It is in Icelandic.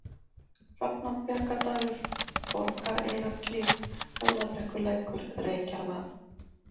Hrafnabjargadalur, Borgareyrarklif, Höfðabrekkulækur, Reykjarvað